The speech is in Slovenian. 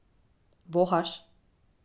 Vohaš?